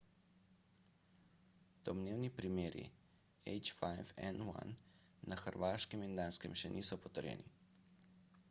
domnevni primeri h5n1 na hrvaškem in danskem še niso potrjeni